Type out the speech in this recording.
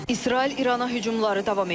İsrail İrana hücumları davam etdirir.